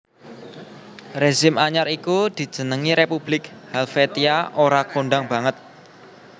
Rezim anyar iku dijenengi Republik Helvetia ora kondhang banget